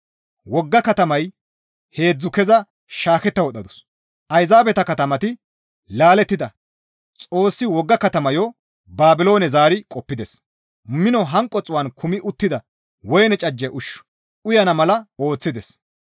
Wogga katamaya heedzdzu keza shaaketta wodhdhadus; ayzaabeta katamati laalettida Xoossi wogga katamayo Baabiloone zaari qoppides; mino hanqo xuu7an kumi attida woyne cajje ushshu uyana mala ooththides.